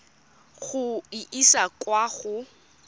go e isa kwa go